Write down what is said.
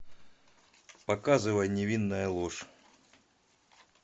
показывай невинная ложь